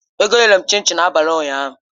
Ego nyere m chin chin n'abalị ụnyaahụ